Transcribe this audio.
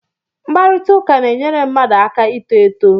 Mkparịta ụka na-enyere mmadụ aka ito eto